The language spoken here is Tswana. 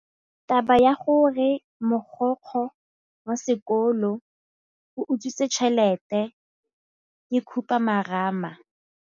Taba ya gore mogokgo wa sekolo o utswitse tšhelete ke khupamarama.